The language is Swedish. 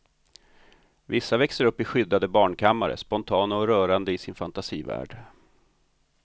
Vissa växer upp i skyddade barnkammare, spontana och rörande i sin fantasivärld.